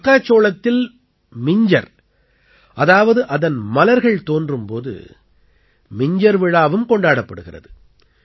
மக்காச்சோளத்தில் மிஞ்ஜர் அதாவது அதன் மலர்கள் தோன்றும் போது மிஞ்ஜர் விழாவும் கொண்டாடப்படுகிறது